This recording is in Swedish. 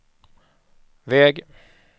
väg